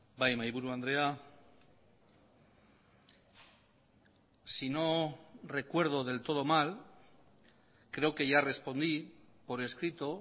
bai mahaiburu andrea si no recuerdo del todo mal creo que ya respondí por escrito